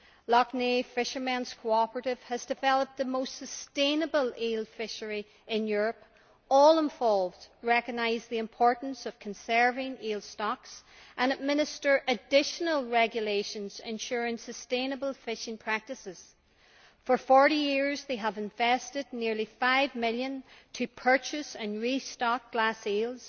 Lough Neagh Fishermen's Cooperative has developed the most sustainable eel fishery in Europe all involved recognise the importance of conserving eel stocks and apply additional regulations ensuring sustainable fishing practices. Over 40 years they have invested nearly GBP 5 million to purchase and restock glass eels.